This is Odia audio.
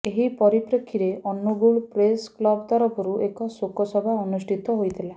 ଏହି ପରିପ୍ରେକ୍ଷୀରେ ଅନୁଗୋଳ ପ୍ରେସ କ୍ଲବ ତରଫରୁ ଏକ ଶୋକ ସଭା ଅନୁଷ୍ଠିତ ହୋଇଥିଲା